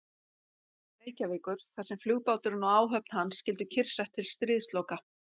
Reykjavíkur, þar sem flugbáturinn og áhöfn hans skyldu kyrrsett til stríðsloka.